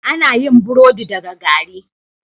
Ana yin burodi daga gari